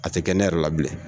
A te kɛ ne yɛrɛ la bilen